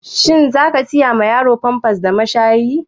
Shin za ka saya ma yaro famfas da mashari?